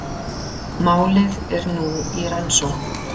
Málið er nú í rannsókn